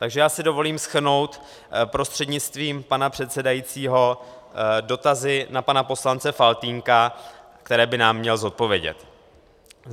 Takže já si dovolím shrnout prostřednictvím pana předsedajícího dotazy na pana poslance Faltýnka, které by nám měl zodpovědět.